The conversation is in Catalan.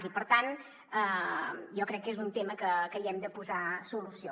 i per tant jo crec que és un tema que hi hem de posar solució